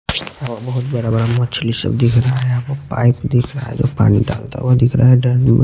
बहुत बड़ा बड़ा मछली सब दिख रहा है आपको पाइप दिख रहा है जो पानी डालता हुआ दिख रहा है डन में--